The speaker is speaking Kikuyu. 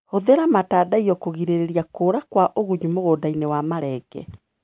Hũthĩra matandaiyo kũgirĩrĩria kũra kwa ũgunyu mũgũndainĩ wa marenge.